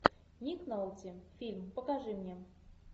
ник нолти фильм покажи мне